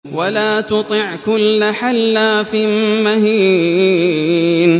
وَلَا تُطِعْ كُلَّ حَلَّافٍ مَّهِينٍ